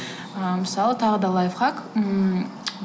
ыыы мысалы тағы да лайфхак ммм